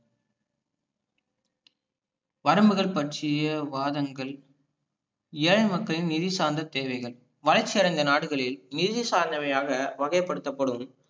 வரம்புகள் பற்றிய வாதங்கள் ஏழை மக்களின் நிதி சார்ந்த தேவைகள் வளர்ச்சி அடைந்த நாடுகளில் நிதி சார்ந்தவையாக வகை படுத்தப்படும்